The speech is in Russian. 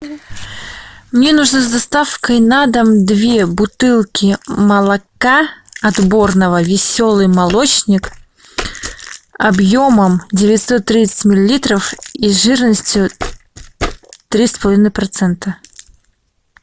мне нужно с доставкой на дом две бутылки молока отборного веселый молочник объемом девятьсот тридцать миллилитров и жирностью три с половиной процента